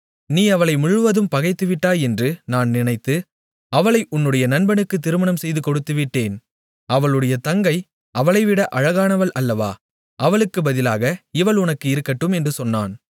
நீ அவளை முழுவதும் பகைத்துவிட்டாய் என்று நான் நினைத்து அவளை உன்னுடைய நண்பனுக்குத் திருமணம் செய்து கொடுத்துவிட்டேன் அவளுடைய தங்கை அவளைவிட அழகானவள் அல்லவா அவளுக்குப் பதிலாக இவள் உனக்கு இருக்கட்டும் என்று சொன்னான்